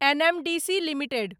NMDC limited